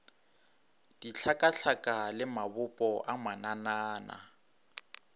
dihlakahlaka le mabopo a mananana